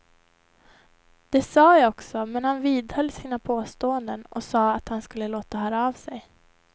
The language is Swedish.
Det sa jag också, men han vidhöll sina påståenden och sa att han skulle låta höra av sig.